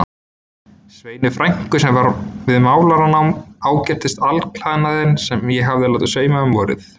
Sveinu frænku sem var við málaranám, ágirntist alklæðnaðinn sem ég hafði látið sauma um vorið.